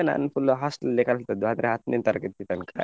ನಾನು full hostel ಲ್ಲೇ ಕಲಿತದ್ದು ಆದ್ರೆ ಹತ್ನೇ ತರಗತಿ ತನಕ.